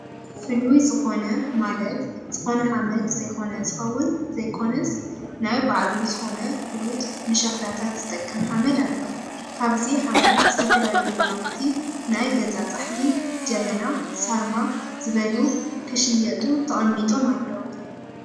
ፍሉይ ዝኮነ ማለት ዝኮነ ሓመድ ዘይኮነ ዝኸውን ዘይኮነስ ናይ ባዕሉ ዝኮነ ፍሉጥ ንሸኽላታት ዝጠቅም ሓመድ ኣሎ ።ካብዚ ሓመድ ዝተፈላለዩ ናውቲ ናይ ገዛ ፃሕሊ፣ ጀበና ፣ሳርማ ዝበሉ ክንሽየጡ ተቀሚጦም ኣለው።